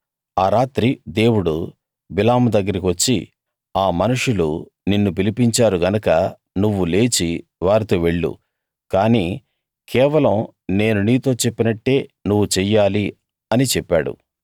ఆ రాత్రి దేవుడు బిలాము దగ్గరికి వచ్చి ఆ మనుషులు నిన్ను పిలిపించారు గనక నువ్వు లేచి వారితో వెళ్ళు కాని కేవలం నేను నీతో చెప్పినట్టే నువ్వు చెయ్యాలి అని చెప్పాడు